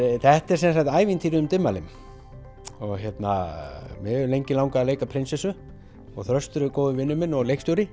þetta er sem sagt ævintýrið um Dimmalimm og mig hefur lengi langað að leika prinsessu og Þröstur er góður vinur minn og leikstjóri